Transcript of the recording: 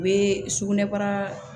U bɛ sugunɛbara